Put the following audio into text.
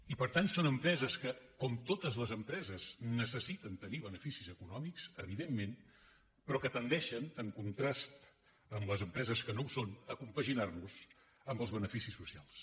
i per tant són empreses que com totes les empreses necessiten tenir beneficis econòmics evidentment però que tendeixen en contrast amb les empreses que no ho són a compaginar los amb els beneficis socials